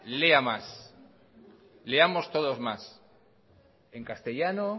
lea más leamos todos más en castellano